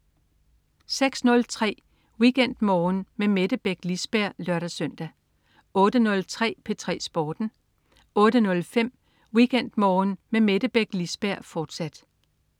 06.03 WeekendMorgen med Mette Beck Lisberg (lør-søn) 08.03 P3 Sporten 08.05 WeekendMorgen med Mette Beck Lisberg, fortsat